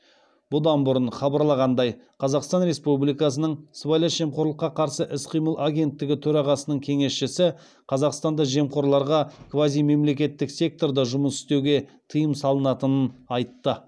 бұдан бұрын хабарланғандай қазақстан республикасының сыбайлас жемқорлыққа қарсы іс қимыл агенттігі төрағасының кеңесшісі қазақстанда жемқорларға квазимемлекеттік секторда жұмыс істеуге тыйым салынатынын айтты